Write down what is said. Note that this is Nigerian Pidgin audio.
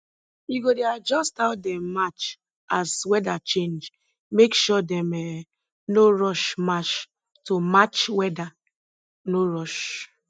you go dey adjust how dem march as weather change make sure dem um no rush march to match weather no rush